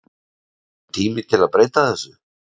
Er ekki kominn tími að breyta þessu?